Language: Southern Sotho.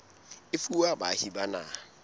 e fuwa baahi ba naha